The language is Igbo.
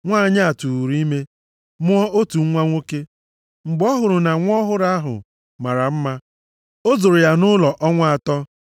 Nwanyị a tụụrụ ime, mụọ otu nwa nwoke. Mgbe ọ hụrụ na nwa ọhụrụ ahụ mara mma, o zoro ya nʼụlọ ọnwa atọ.